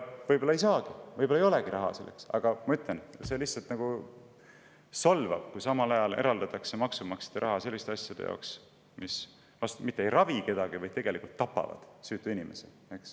Võib-olla ei saagi, võib-olla ei olegi raha selleks, aga see lihtsalt solvab, kui samal ajal eraldatakse maksumaksjate raha selliste asjade jaoks, mis mitte kedagi ei ravi, vaid tegelikult tapab süütuid inimesi.